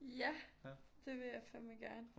Ja det vil jeg fandme gerne